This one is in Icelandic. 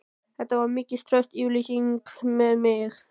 Þetta var mikil trausts yfirlýsing við mig.